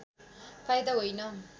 फाइदा होइन